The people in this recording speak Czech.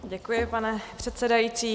Děkuji, pane předsedající.